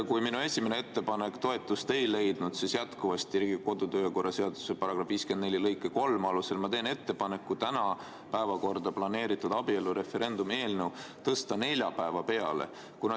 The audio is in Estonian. Kuna minu esimene ettepanek toetust ei leidnud, siis teen Riigikogu kodu‑ ja töökorra seaduse § 54 lõike 3 alusel ettepaneku tõsta täna päevakorda planeeritud abielureferendumi eelnõu neljapäeva peale.